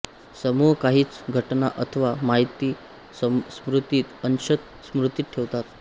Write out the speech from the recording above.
समूह काहीच घटना अथवा माहिती स्मृतीत अंशत स्म्रुतीत ठेवतात